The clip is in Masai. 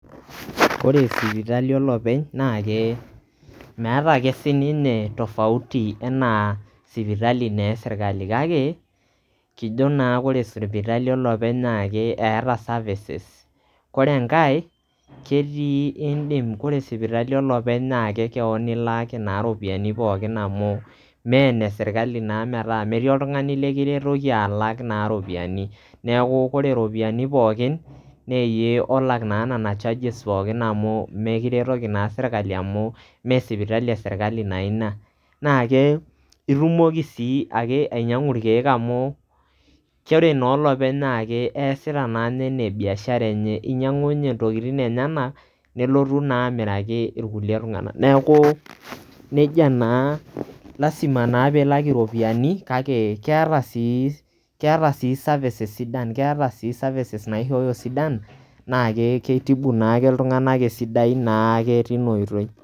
ore sipitali olopeny naa ke meeta ake sininye[cs tofauti anaa sipitali naa e sirkali kake kijo naa ore sipitali olopeny naa eeta services ore enkae ketii indim ,ore sipitali olopeny naa kekewon naa ilaaki naa iropyiani pookin amu mme ene sirkali naa metaa metii oltungani likiretoki alak naa iropiyiani neku ore iropiyiani pookin naa iyie naa olak nena charges pokin amu mekiretoki naa sirkali amu mme sipitali esirkali naa ina .naa ke itumoki sii ainyangu irkieek amu ore naa olopeny na kesita naa anaa biashara enye, inyiangu ninye intokitin enyenak nelotu naa amiraki irkulie tunganak .neaku nejia naa lasima naa polak iropiyiani kake keeta sii keeta sii services sidan. keeta sii[cs services naishooyo sidan maa keitibu naake iltunganak esidai naa ke tina oitoi.